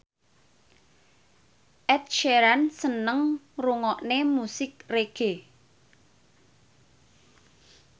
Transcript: Ed Sheeran seneng ngrungokne musik reggae